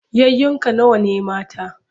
Yayunka nawa ne mata?